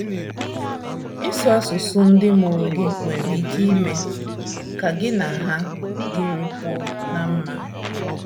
Ịsụ asụsụ ndị mụrụ gị nwere ike ime ka gị na ha dịrịkwuo ná mma